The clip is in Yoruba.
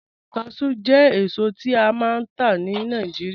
Cashew jẹ̀ èsò, tí a máa n tà ní Nàìjíríà